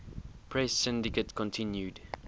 press syndicate continued